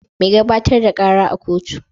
Mai gabatar da kara a kotu